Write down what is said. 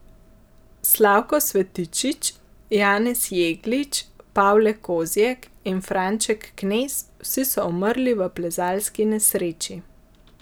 Slavko Svetičič, Janez Jeglič, Pavle Kozjek in Franček Knez, vsi so umrli v plezalski nesreči.